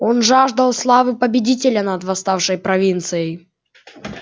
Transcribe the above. он жаждал славы победителя над восставшей провинцией